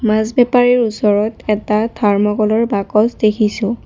মাছ বেপাৰীৰ ওচৰত এটা থাৰ্মকলৰ বাকচ দেখিছোঁ।